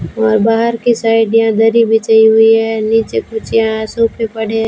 और बाहर की साइड यहां दरी बिछाई हुई है नीचे कुछ यहां सोफे पड़े--